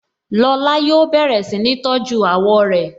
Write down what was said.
Lọ́la yóò bẹ̀rẹ̀ si ni tọ́jú àwọ̀ rẹ